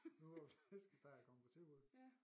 Nu hvor flæskesteg er kommet på tilbud